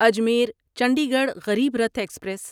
Ajmer Chandigarh Garib Rath express